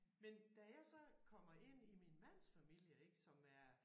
Men da jeg så kommer ind i min mands familie ik som er